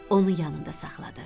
Onu yanında saxladı.